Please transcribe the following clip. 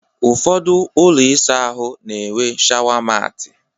Ụfọdụ ụlọ ịsa ahụ na-enwe shawa maati